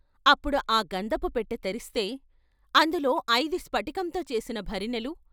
అప్పుడు ఆ గంధపు పెట్టె తెరిస్తే, అందులో ఐదు స్పటి కంతో చేసిన భరిణెలు.